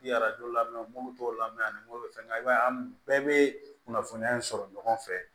lamɛnburu dɔw la mɛ ani m'o fɛngɛ i b'a ye an bɛɛ bɛ kunnafoniya in sɔrɔ ɲɔgɔn fɛ